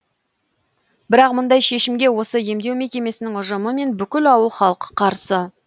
бірақ мұндай шешімге осы емдеу мекемесінің ұжымы мен бүкіл ауыл халқы қарсы